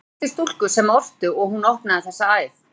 Þar kynntist ég stúlku sem orti, og hún opnaði þessa æð.